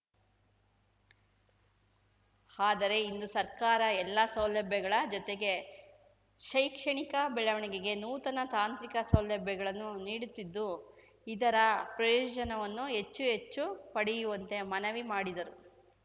ಆದರೆ ಇಂದು ಸರ್ಕಾರ ಎಲ್ಲ ಸೌಲಭ್ಯಗಳ ಜೊತೆಗೆ ಶೈಕ್ಷಣಿಕ ಬೆಳವಣಿಗೆಗೆ ನೂತನ ತಾಂತ್ರಿಕ ಸೌಲಭ್ಯಗಳನ್ನು ನೀಡುತ್ತಿದ್ದು ಇದರ ಪ್ರಯೋಜನವನ್ನು ಹೆಚ್ಚು ಹೆಚ್ಚು ಪಡೆಯುವಂತೆ ಮನವಿ ಮಾಡಿದರು